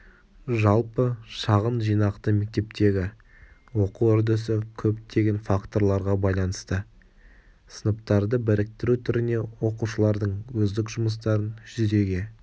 жалпы шағын жинақты мектептегі оқу үрдісі көптеген факторларға байланысты сыныптарды біріктіру түріне оқушылардың өздік жұмыстарын жүзеге